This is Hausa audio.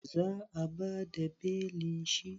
Za a bada belin shi?